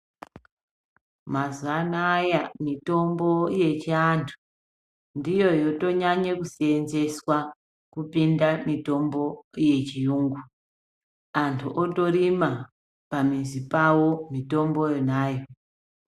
Mazaanaya mitombo yechiantu ndiyo yotonyanya kuseenzeswa kupinda mitombo yechiyungu. Antu otorima pamizi pavo mitombo yonayo.